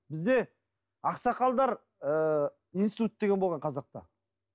бізде ақсақалдар ыыы институты деген болған қазақта